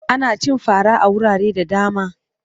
Ana cin fara a wurare da dama.